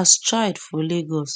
as child for lagos